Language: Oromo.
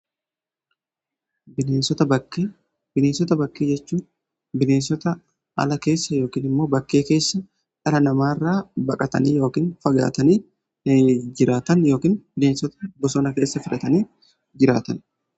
Bineensota bakkee: Bineensota bakkee jechuu bineensota ala keessa yookiin immoo bakkee keessa dhala namaa irraa baqatanii yookiin fagaatanii jiraatan yookiin bineensota bosona keessa filatanii jiraatanidha.